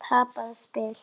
Tapað spil?